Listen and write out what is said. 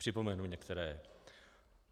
Připomenu některé.